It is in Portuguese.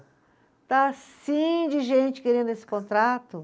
Está assim de gente querendo esse contrato